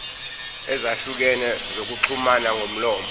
ezahlukene zokuxhumana ngomlomo